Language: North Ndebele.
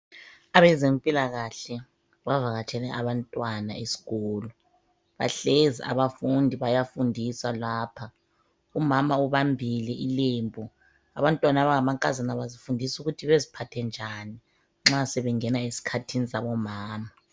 Abezempilakahle bavakatshele abantwana esikolo, bahlezi abafundi bayafundiswa lapha. Umama ubambile ilembu. Abantwana abangamankazana bazifundisa ukuthi baziphathe njani bengena esikhathini zabomama